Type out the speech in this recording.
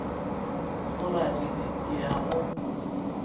go ratile ke a go